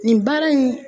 Nin baara in